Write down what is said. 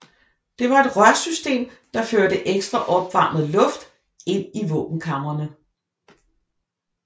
Det var et rørsystem der førte ekstra opvarmet luft ind i våbenkamrene